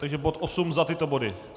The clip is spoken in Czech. Takže bod 8 za tyto body.